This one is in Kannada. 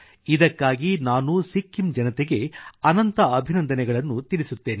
ಇದಕ್ಕಾಗಿ ನಾನು ಸಿಕ್ಕಿಮ್ ಜನತೆಗೆ ಅನಂತ ಅಭಿನಂದನೆಗಳನ್ನು ತಿಳಿಸುತ್ತೇನೆ